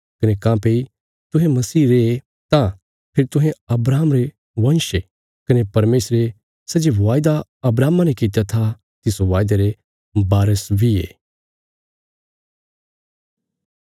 कने काँह्भई तुहें मसीह रे तां फेरी तुहें अब्राहम रे वंश ये कने परमेशरे सै जे वायदा अब्राहमा ने कित्या था तिस वायदे रे बारस बी ये